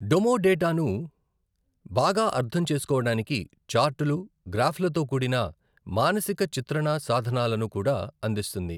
డొమో డేటాను బాగా అర్థం చేసుకోవడానికి చార్టులు, గ్రాఫ్లతో కూడిన మానసిక చిత్రణా సాధనాలను కూడా అందిస్తుంది.